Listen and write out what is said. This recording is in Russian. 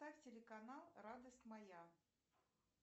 ставь телеканал радость моя